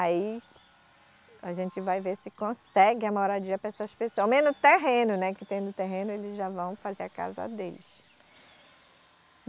Aí a gente vai ver se consegue a moradia para essas pessoas, ao menos o terreno, né, que tendo o terreno eles já vão fazer a casa deles.